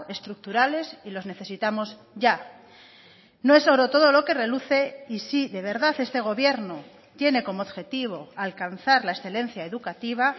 estructurales y los necesitamos ya no es oro todo lo que reluce y si de verdad este gobierno tiene como objetivo alcanzar la excelencia educativa